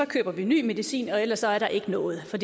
køber vi ny medicin og ellers er der ikke noget for